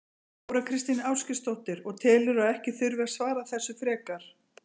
Þóra Kristín Ásgeirsdóttir: Og telurðu að ekki þurfi að svara þessu frekar?